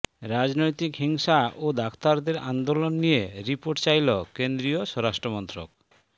রাজনৈতিক হিংসা ও ডাক্তারদের আন্দোলন নিয়ে রিপাের্ট চাইল কেন্দ্রীয় স্বরাষ্টমন্ত্রক